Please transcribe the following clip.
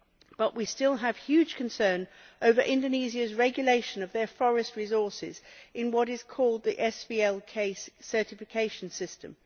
But we still have huge concerns over Indonesia's regulation of its forest resources in what is called the SVLK certification system.